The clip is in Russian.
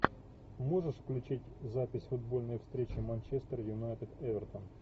можешь включить запись футбольной встречи манчестер юнайтед эвертон